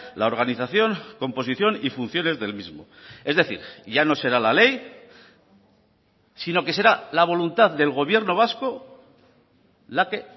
la organización composición y funciones del mismo es decir ya no será la ley sino que será la voluntad del gobierno vasco la que